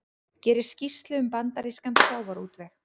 Gerir skýrslu um bandarískan sjávarútveg